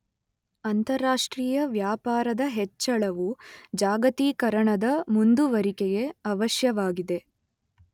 ಅಂತಾರಾಷ್ಟ್ರೀಯ ವ್ಯಾಪಾರದ ಹೆಚ್ಚಳವು ಜಾಗತೀಕರಣದ ಮುಂದುವರಿಕೆಗೆ ಅವಶ್ಯವಾಗಿದೆ.